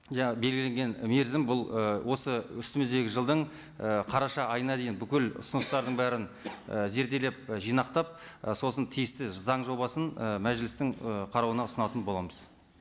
жаңа белгіленген мерзім бұл ы осы үстіміздегі жылдың і қараша айына дейін бүкіл ұсыныстардың бәрін і зерделеп і жинақтап і сосын тиісті заң жобасын і мәжілістің ы қарауына ұсынатын боламыз